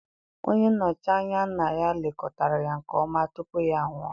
Onye nnochi anya nna ya lekọtara ya nke ọma tupu ya anwụọ.